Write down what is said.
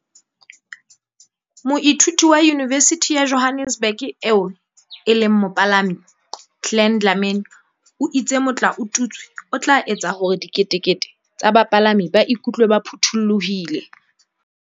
Moithuti wa Yunivesithi ya Johannesburg eo e boelang e le mopalami, Glen Dlamini o itse motlaotutswe o tla etsa hore diketekete tsa bapalami ba iku tlwe ba phuthulohile.